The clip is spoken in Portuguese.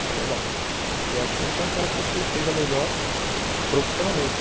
Eu falei, bom, se é assim, então quero que você seja melhor profissionalmente.